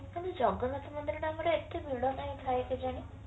ଖାଲି ଜଗନ୍ନାଥ ମନ୍ଦିର ଟା ଆମର ଏତେ ଭିଡ କାହିଁ ଥାଏ କେଜାଣି